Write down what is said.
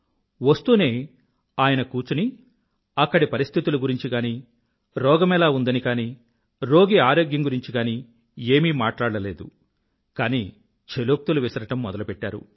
వస్తూనే ఆయన కూచుని అక్కడి పరిస్థితులను కానీ రోగమెలా ఉందని కానీ రోగి ఆరోగ్యం గురించి గానీ ఏమీ మాట్లాడలేదు కానీ ఛలోక్తులు విసరడం మొదలుపెట్టారు